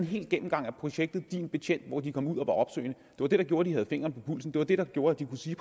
hel gennemgang af projektet din betjent hvor de kom ud og var opsøgende var det der gjorde at de havde fingeren på pulsen det var det der gjorde at de præcis